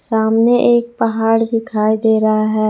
सामने एक पहाड़ दिखाई दे रहा है।